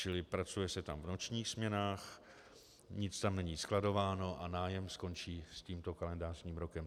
Čili pracuje se tam v nočních směnách, nic tam není skladováno a nájem skončí s tímto kalendářním rokem.